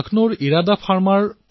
লক্ষ্ণৌতো কৃষকৰ এনে এক গোট আছে